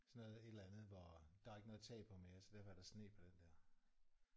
Sådan noget et eller andet hvor der er ikke noget tag på mere så derfor er der sne på den der